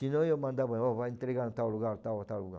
Senão eu mandava, ó, vai entregar em tal lugar, tal, tal lugar.